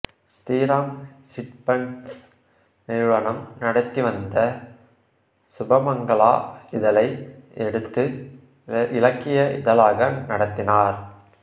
Sriram chit funds நிறுவனம் நடத்திவந்த சுபமங்களா இதழை எடுத்து இலக்கிய இதழாக நடத்தினார்